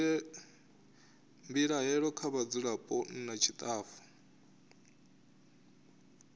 mbilaelo kha vhadzulapo nna tshitafu